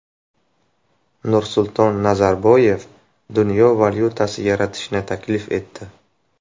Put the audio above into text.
Nursulton Nazarboyev dunyo valyutasi yaratishni taklif etdi .